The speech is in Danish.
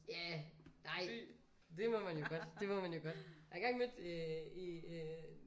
Ja nej det må man jo godt det må man jo godt. Jeg har engang mødt øh en øh